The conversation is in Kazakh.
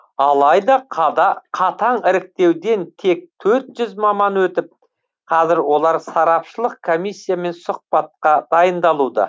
алайда қатаң іріктеуден тек төрт жүз маман өтіп қазір олар сарапшылық комиссиямен сұхбатта дайындалуда